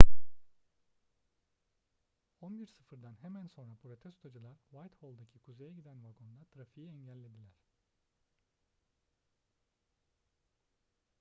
11.00'dan hemen sonra protestocular whitehall'daki kuzeye giden vagonda trafiği engellediler